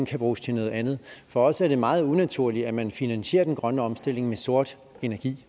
kan bruges til noget andet for os er det meget unaturligt at man finansierer den grønne omstilling med sort energi